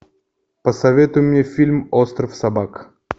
посоветуй мне фильм остров собак